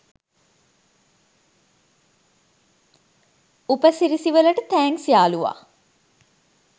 උපසිරැසි වලට තෑන්ක්ස් යාළුවා.